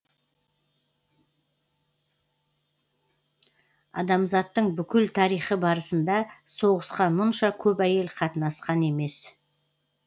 адамзаттың бүкіл тарихы барысында соғысқа мұнша көп әйел қатынасқан емес